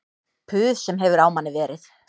Puð sem hefur á manni verið